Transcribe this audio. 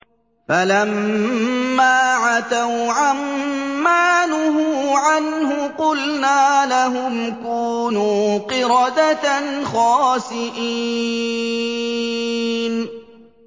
فَلَمَّا عَتَوْا عَن مَّا نُهُوا عَنْهُ قُلْنَا لَهُمْ كُونُوا قِرَدَةً خَاسِئِينَ